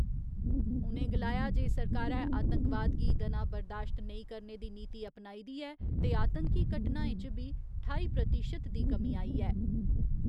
उ'नें गलाया जे सरकारै आतंकवाद गी दना बरदाश्त नेईं करने दी नीति अपनाई दी ऐ ते आतंकी घटनाएं च बी ठाई प्रतिशत दी कमी आई ऐ।